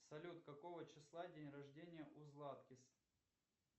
салют какого числа день рождения у златкис